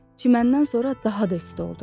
Çiməndən sonra daha da isti oldu.